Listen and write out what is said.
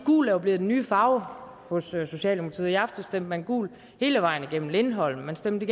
gul jo er blevet den nye farve hos socialdemokratiet i aftes stemte man gult hele vejen igennem i lindholm og man stemte